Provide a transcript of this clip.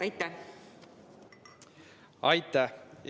Aitäh!